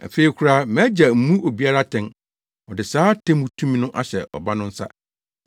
Afei koraa mʼAgya mmu obiara atɛn. Ɔde saa atemmu tumi no ahyɛ Ɔba no nsa